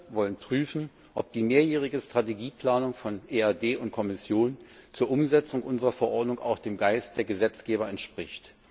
Wir wollen prüfen, ob die mehrjährige Strategieplanung von EAD und Kommission zur Umsetzung unserer Verordnungen auch dem Geist der Gesetzgeber entspricht.